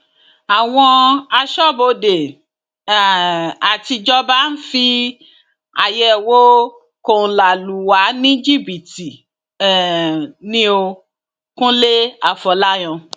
àwọn aṣọbodè um àtijọba ń fi àyẹwò kóńlá lù wá ní jìbìtì um ni ó kúnlẹ afọlàyàn